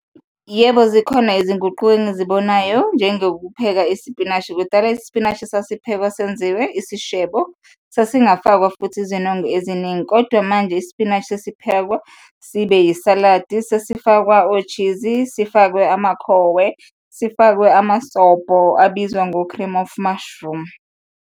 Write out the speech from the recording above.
Yebo, zikhona izinguquko engizibonayo njengokupheka isipinashi. Kudala isipinashi sasiphekwa senziwe isishebo, sasingafakwa futhi izinongo eziningi kodwa manje isipinashi sesiphekwa sibe yisaladi, sesifakwa o-cheese-i, sifakwe amakhowe, sifakwe amasobho abizwa ngo-cream of mushroom.